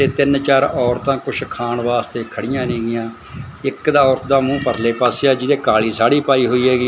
ਇਹ ਤਿੰਨ ਚਾਰ ਔਰਤਾਂ ਕੁੱਛ ਖਾਣ ਵਾਸਤੇ ਖੜੀਆਂ ਨੇਗੀਆਂ ਇੱਕ ਦਾ ਔਰਤ ਦਾ ਮੂੰਹ ਪਰਲੇ ਪਾਸੇ ਆ ਜਿਹਨੇ ਕਾਲੀ ਸਾੜੀ ਪਾਈ ਹੋਈ ਹੈਗੀ।